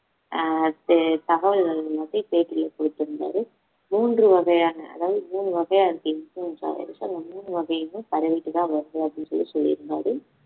ஆஹ் தே~ தகவல்கள் வந்து பேட்டியில கொடுத்திருந்தாரு மூன்று வகையான அதாவது மூன்று வகையா இருக்கு influenza இந்த மூணு வகையுமே பரவிட்டுதான் வருது அப்படின்னு சொல்லி சொல்லிருந்தாரு